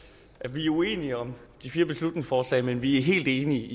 vi er uenige om beslutningsforslagene men vi er helt enige